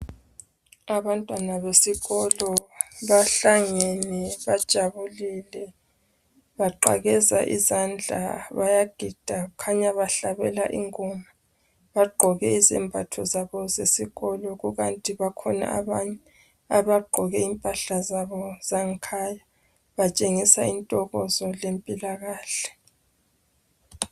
Abantwana besikolo bahlangene bajabulile baqakeza izandla bayagida kukhanya bahlabela ingoma bagqoke izembatho zabo sezikolo kukanti bakhona abanye abagqoke impahla zabo zangekhaya batshengisa intokozo lempilakahle.